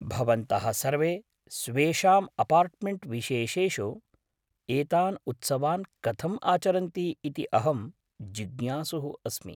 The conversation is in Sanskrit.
भवन्तः सर्वे स्वेषां अपार्ट्मेण्ट् विशेषेषु एतान् उत्सवान् कथं आचरन्ति इति अहं जिज्ञासुः अस्मि।